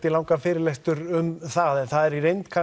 í langan fyrirlestur um það en það er í reynd